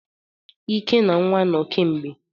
Ike na nwa no kemgbe.